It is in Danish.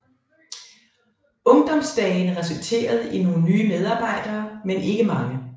Ungdomsdagene resulterede i nogle nye medarbejdere men ikke mange